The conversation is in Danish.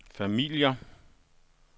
familier